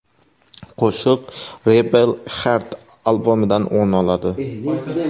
Qo‘shiq Rebel Heart albomidan o‘rin oladi.